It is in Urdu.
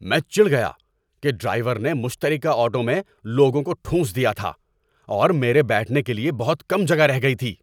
میں چڑ گیا کہ ڈرائیور نے مشترکہ آٹو میں لوگوں کو ٹھونس دیا تھا اور میرے بیٹھنے کے لیے بہت کم جگہ رہ گئی تھی۔